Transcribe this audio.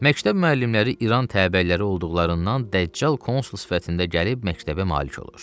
Məktəb müəllimləri İran təbəəliləri olduqlarından Dəccal konsul sifətində gəlib məktəbə malik olur.